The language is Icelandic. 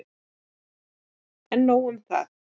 En nóg um það!